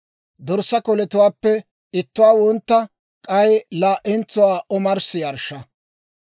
Dorssaa koletuwaappe ittuwaa wontta, k'ay laa'entsuwaa omarssi yarshsha.